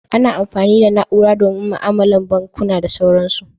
Ana amfani da na'ura domin ma'alolin banukuna da sauransu.